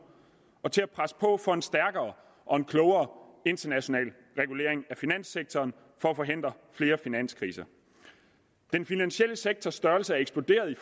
og til at presse på for en stærkere og en klogere international regulering af finanssektoren for at forhindre flere finanskriser den finansielle sektors størrelse er eksploderet i